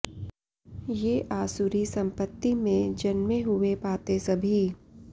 ये आसुरी सम्पत्ति में जन्मे हुए पाते सभी